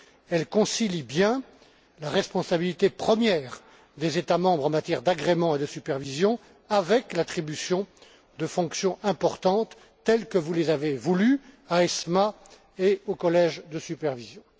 Elle concilie bien la responsabilité première des États membres en matière d'agrément et de supervision, avec l'attribution de fonctions importantes telles que vous les avez voulues à l'ESMA et aux collèges de supervision.